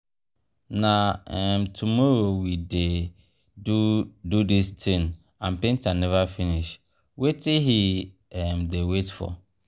na um tomorrow we dey do do dis thing and painter never finish. wetin he um dey wait for?